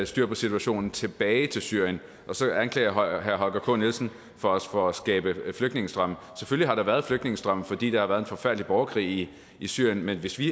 styr på situationen tilbage til syrien og så anklager herre holger k nielsen os for at skabe flygtningestrømme selvfølgelig har der været flygtningestrømme fordi der har været en forfærdelig borgerkrig i syrien men hvis vi